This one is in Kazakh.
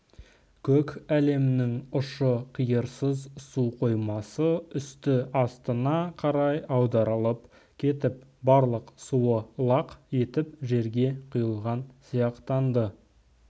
көк әлемінің ұшы-қиырсыз су қоймасы үсті астына қарай аударылып кетіп барлық суы лақ етіп жерге құйылған сияқтанды